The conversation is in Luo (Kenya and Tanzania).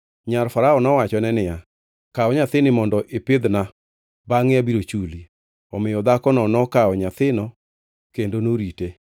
Nyar Farao nowachone niya, “Kaw nyathini mondo ipidhna bangʼe abiro chuli.” Omiyo dhakono nokawo nyathino kendo norite.